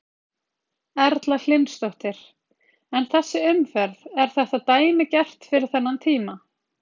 Erla Hlynsdóttir: En þessi umferð, er þetta dæmigert fyrir þennan tíma?